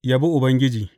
Yabi Ubangiji.